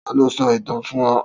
Ta lo so itan fun o?